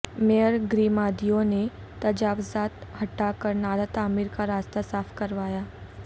mayor Garima Devi نے تجاوزات ہٹاکر نالہ تعمیر کا راستہ صاف کروایا